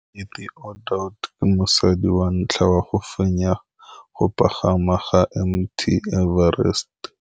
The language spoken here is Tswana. Cathy Odowd ke mosadi wa ntlha wa go fenya go pagama ga Mt Everest.